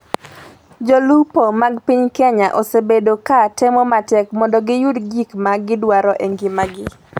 Jolupo mag piny Kenya osebedo ka temo matek mondo giyud gik ma gidwaro e ngimagi